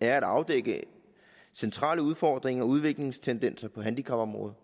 er at afdække centrale udfordringer og udviklingstendenser på handicapområdet